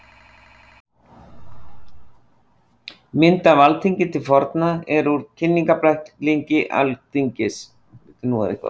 Mynd af Alþingi til forna er úr Kynningarbæklingi Alþingis.